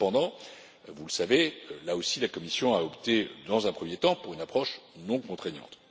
Cependant, vous le savez, là aussi, la Commission a opté dans un premier temps pour une approche non contraignante.